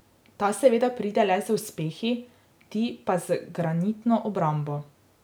Ta seveda pride le z uspehi, ti pa z granitno obrambo.